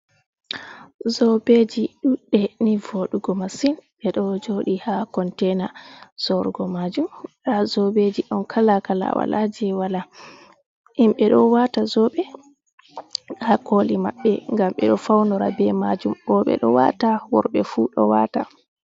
Zoɓeji ɗuɗɗe ni vodugo masin ɓe do jodi ha kontaina zorugo majum ha zobeji don kala kala walaje wala himɓe do wata zoɓe ha koli maɓɓe ngam ɓe ɗo faunora be majum roɓe ɗo wata worɓe fu do wata.